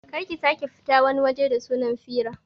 Kar ki sake fita wani waje da sunan fira